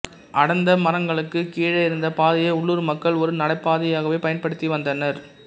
அடர்ந்த மரங்களுக்குக் கீழேயிருந்த பாதையை உள்ளூர் மக்கள் ஒரு நடைபாதையாகவே பயன்படுத்தி வந்தனர்